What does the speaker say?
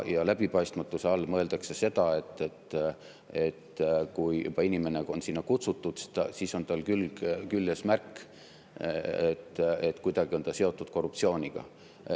Läbipaistmatuse all mõeldakse seda, et kui juba inimene on sinna kutsutud, siis on tal märk küljes, et kuidagi on ta seotud korruptsiooniga.